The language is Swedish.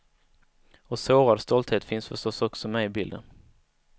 Och sårad stolthet finns förstås också med i bilden.